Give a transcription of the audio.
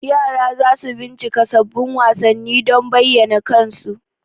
yara za su bincika sabbin wasanni don bayyana kansu.